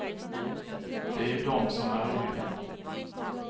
Det är ju dom som är roliga.